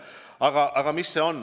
Aga mis see on?